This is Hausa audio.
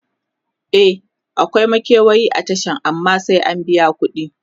e akwai makewayi a Tashan amma sai ka biya kudi